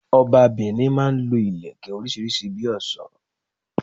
Ọba Benin máa n lo Ìlẹ̀kẹ̀ orísírìsí bi òsó